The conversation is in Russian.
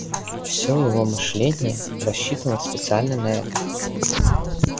все его мышление рассчитано специально на это